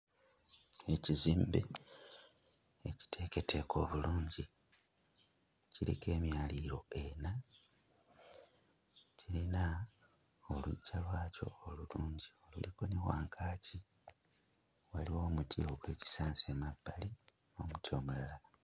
Ekizimbe ekiteeketeeke obulungi kiriko emyaliriro ena kiyina oluggya lwakyo olulungi oluliko ne wankaaki waliwo omuti ogw'ekisansa emabbali n'omuti omulala.